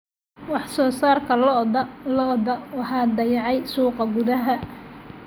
Wax-soo-saarka lo'da lo'da waxaa dayacay suuqa gudaha.